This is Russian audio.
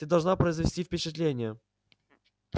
ты должна произвести впечатление